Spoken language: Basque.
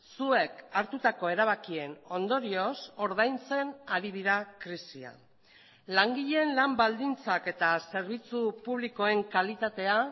zuek hartutako erabakien ondorioz ordaintzen ari dira krisia langileen lan baldintzak eta zerbitzu publikoen kalitatea